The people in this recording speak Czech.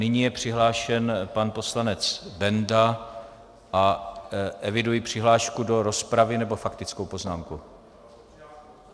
Nyní je přihlášen pan poslanec Benda a eviduji přihlášku do rozpravy nebo faktickou poznámku?